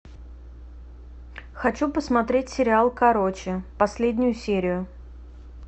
хочу посмотреть сериал короче последнюю серию